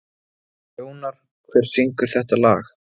Jónar, hver syngur þetta lag?